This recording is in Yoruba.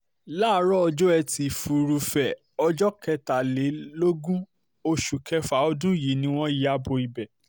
láàárọ̀ ọjọ́ etí furuufee ọjọ́ kẹtàlélógún oṣù kẹfà ọdún yìí ni wọ́n ya bo ibẹ̀